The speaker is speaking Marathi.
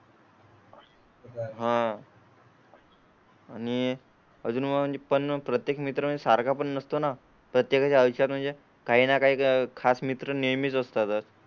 हा. आणि अजून म्हणजे पण प्रत्येक मित्रा सारखा पण नसतो ना? प्रत्येका च्या विचार म्हणजे काही ना काही खास मित्र नेहमीच असतात.